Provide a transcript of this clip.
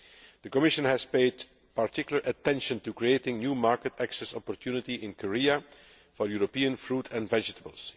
The Commission has paid particular attention to creating a new market access opportunity in Korea for European fruit and vegetables.